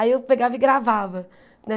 Aí eu pegava e gravava.